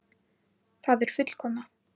Það er fullkomnað.